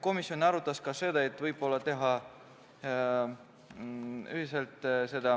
Komisjon arutas ka seda, et võib-olla teha seda ühiselt ja seda